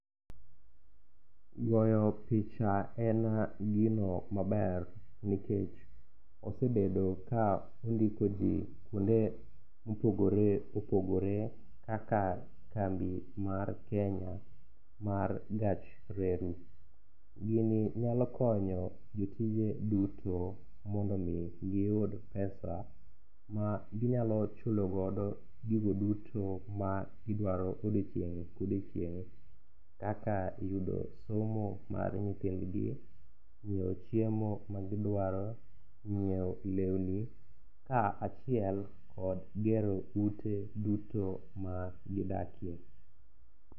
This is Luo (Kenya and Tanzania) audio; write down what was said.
Goyo picha en gino maber nikech osebedo ka ondiko ji kuonde mopogore opogore kaka kambi mar Kenya mar gach reru. Gini nyalo konyo jotije duto mondo omi giyud pesa maginyalo chulogodo gigo duto ma gidwaro odiechieng' ka odiechieng' kaka yudo somo mar nyithindgi, nyieo chiemo magidwaro, nyieo lewni kaachiel kod gero ute duto magidakie.